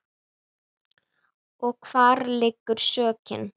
Og hvar liggur sökin?